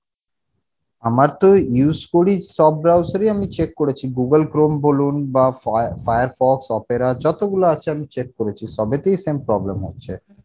আমার তো use করি সব browser ই আমি check করেছি Google chrome বলুন বা fire~firefox opera যতগুলো আছে আমি check করেছি সবেতেই same problem হচ্ছে